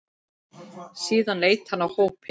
Síðan leit hann á hópinn.